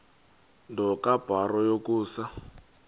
nto kubarrow yokusa